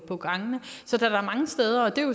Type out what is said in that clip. på gangene